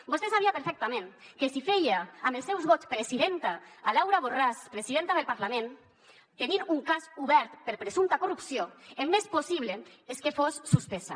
vostè sabia perfectament que si feia amb els seus vots presidenta laura borràs presidenta del parlament tenint un cas obert per presumpta corrupció el més possible era que fos suspesa